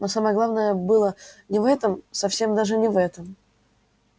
но самое главное было не в этом совсем даже не в этом